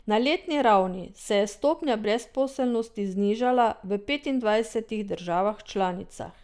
Na letni ravni se je stopnja brezposelnosti znižala v petindvajsetih državah članicah.